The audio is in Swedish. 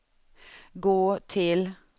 gå till